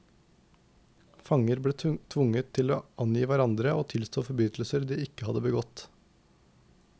Fanger ble tvunget til å angi hverandre og tilstå forbrytelser de ikke hadde begått.